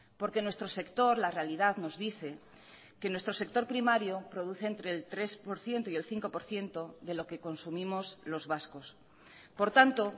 porque en nuestro sector la realidad nos dice que nuestro sector primario produce entre el tres por ciento y el cinco por ciento de lo que consumimos los vascos por tanto